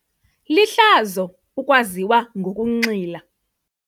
Lihlazo ukwaziwa ngokunxila.